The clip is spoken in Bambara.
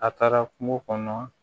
A taara kungo kɔnɔ